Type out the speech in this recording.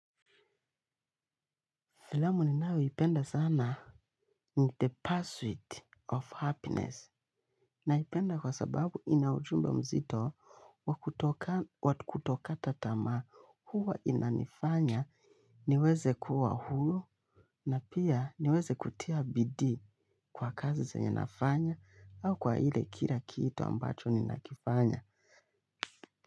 Filamu ninayoipenda sana. The Password of Happiness. Naipenda kwa sababu inaujumbe mzito wa kuto kata tamaa huwa inanifanya niweze kuwa hulu na pia niweze kutia bidii kwa kazi zenye nafanya au kwa ile kila kitu ambacho ninakifanya.